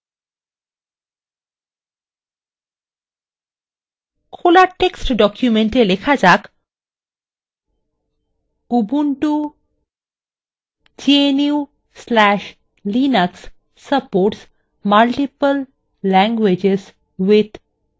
খোলা text document এ লেখা যাক ubuntu gnu/linux supports multiple languages with libreoffice